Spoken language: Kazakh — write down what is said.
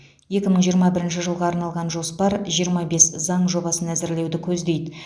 екі мың жиырма бірінші жылға арналған жоспар жиырма бес заң жобасын әзірлеуді көздейді